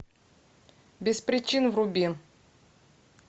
без причин вруби